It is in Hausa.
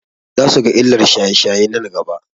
Za su ga illar shaye-shaye nan gaba.